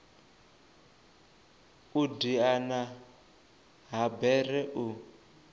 u diana ha bere u